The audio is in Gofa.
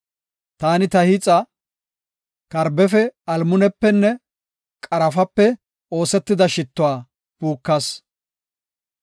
Taani ta hiixa, karbefe, almunepenne qarafape, oosetida shittuwa puukas.